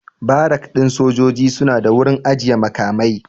Barak ɗin sojoji suna da wurin ajiyan makamai